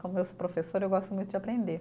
Como eu sou professora, eu gosto muito de aprender.